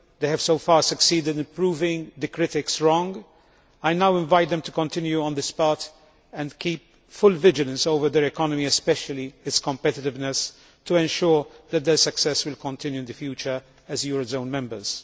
They have so far succeeded in proving the critics wrong. I now invite them to continue on the spot and keep full vigilance over their economy, especially its competitiveness, to ensure that their success will continue in the future as eurozone members.